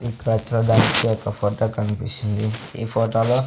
ఇక్కడ చూడడానికి యొక్క ఫోటో కన్పిస్తుంది ఈ ఫోటోలో --